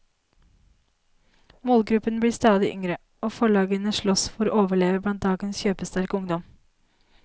Målgruppen blir stadig yngre, og forlagene slåss for å overleve blant dagens kjøpesterke ungdom.